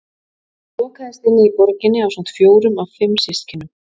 Hún lokaðist inni í borginni ásamt fjórum af fimm systkinum.